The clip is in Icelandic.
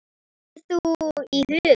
Hvað hefur þú í huga?